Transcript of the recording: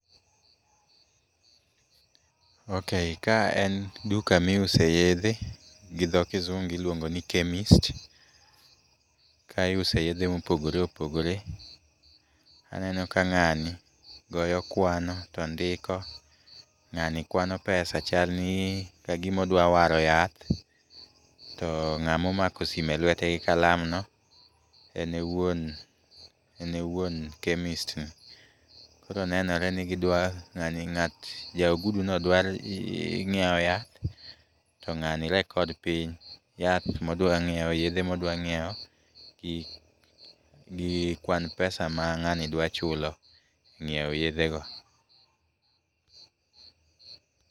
Ok ka en duka miuse yedhe, gi dho kisungu iluongo ni chemist. Ka iuse yedhe mopogore opogore. Aneno ka ng'ani goyo kwano, to ndiko. Ng'ani kwano pesa, chal ni kagima odwa waro yath to ng'ama omako sime elwete gi kalam no, en e wuon, en e wuon chemist ni. Koro nenore ni gidwa ng'ani ng'at ja oguduno dwa nyiewo yath, to ng'ani record piny, yath modwa ng'iewo yedhe modwa ng'iewo gi kwan pesa ma ng'ani dwa chulo ngiewo yedhe go.